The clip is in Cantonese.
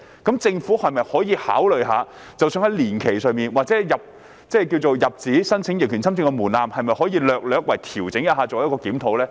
主席，政府可否考慮在年期或入紙申請逆權侵佔的門檻上略為調整，並作檢討呢？